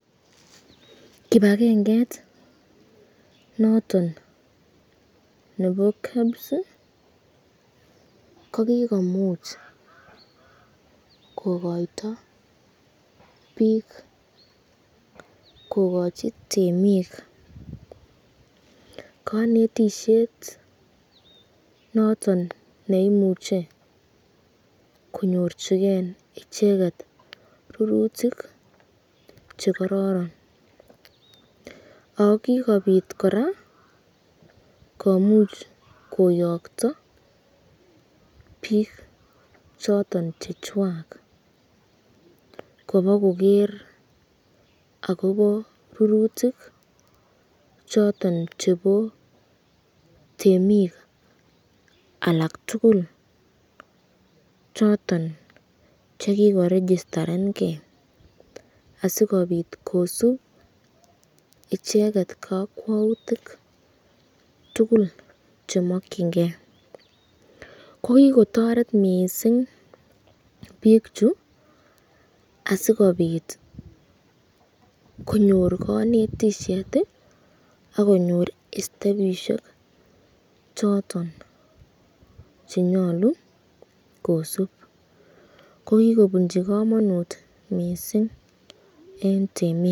Kibakenget noton nebo KEBS kokikomuch kokoiyto bik kokachi temik kanetisyet noton neimuche konyorchiken icheket rurutik chekororon, ako kikobit koraa komuch koyakta bik choton chechwak, kobakoger akobo rurutik choton chebo temik alak tukul choton chekiko registarenken asikobit kosubot icheket kakwautik tukul chemakyinike ,ko kikotoret mising bik chu asikobit konyor kanetisyet akonyoru ostepishek choton chenyolu kosubot, ko kikobinchi kamanut mising eng temik.